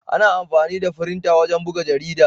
Ana amfani da firinta wajen buga jarida.